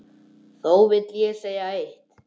Þó vil ég segja eitt.